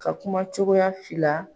Ka kuma cogoya fila.